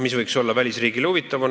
Mis võiks olla välisriigile huvitav?